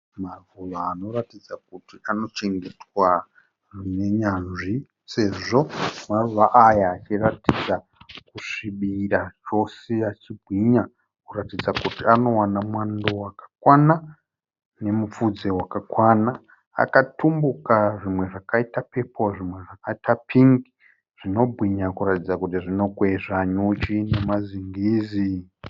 Maruva anoratidza kuti anochengetwa nenyanzvi sezvo maruva aya achiratidza kusvibira chose achibwinya kuratidza kuti anowana mwando wakakwana nemupfudze wakakwana. Akatumbuka zvimwe zvakaita pepoo zvimwe zvakaita pingi zvinobwinya kuratidza kuti zvinokwezva nyuchi nemazingizi.